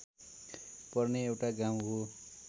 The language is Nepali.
पर्ने एउटा गाउँ हो